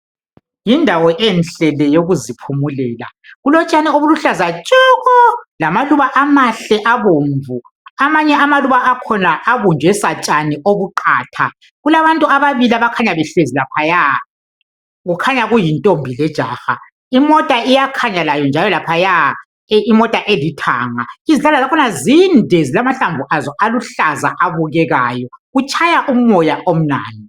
Yindawo enhle le yokuthi phumulela kulotshani obuluhlaza tshokoo lamaluba amahle abomvu amanye amaluba akhona abunjwe satshani obuqatha kulabantu ababili abakhanya behlazi laphaya kukhanya kuyintombi lejaha imota iyakhanya njalo layo laphaya imota elithanga izihlahla zakhona zinde limahlamvu aso aluhlaza abukekayo kutshaya umoya omnandi